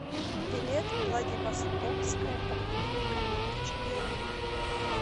билет владивостокская поликлиника номер четыре